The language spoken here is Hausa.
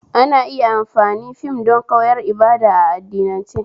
Ana iya amfani fim don koyar ibada a addinance